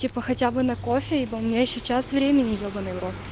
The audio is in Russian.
типо хотя бы на кофе и у меня ещё час времени ебанный в рот